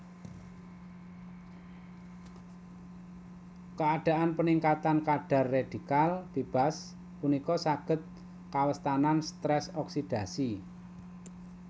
Keadaan peningkatan kadar redikal bebas punika saged kawestanan stress oksidasi